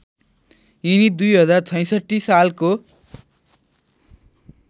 यिनी २०६६ सालको